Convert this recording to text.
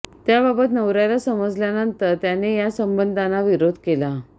त्याबाबत नवऱ्याला समजल्यानंतर त्याने या संबंधांना विरोध केला